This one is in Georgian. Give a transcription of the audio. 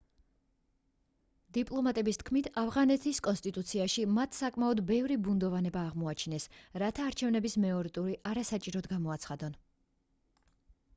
დიპლომატების თქმით ავღანეთის კონსტიტუციაში მათ საკმაოდ ბევრი ბუნდოვანება აღმოაჩინეს რათა არჩევნების მეორე ტური არასაჭიროდ გამოაცხადონ